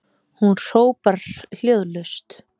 Hún hrópar hljóðlaust